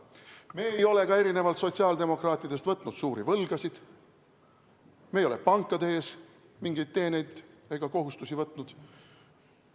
Me ei ole ka erinevalt sotsiaaldemokraatidest võtnud suuri võlgasid, me ei ole pankade ees mingeid kohustusi võtnud.